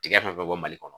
Tigɛ fɛn fɛn bɛ bɔ mali kɔnɔ